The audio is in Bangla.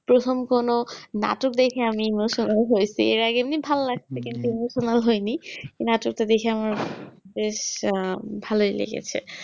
প্রথম করো নাটক দেখে আমি emotional হইছি আর আগে এমনি ভাল্লাগছে কিন্তু emotional হয়নি নাটক তা দেখে আমার বেশ আহ ভালোই লেগেছে